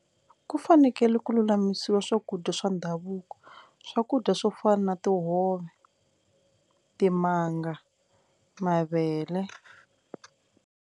Ku fanekele ku lulamisiwa swakudya swa ndhavuko swakudya swo fana na tihove, timanga, mavele.